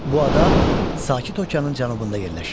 Bu ada Sakit Okeanın cənubunda yerləşir.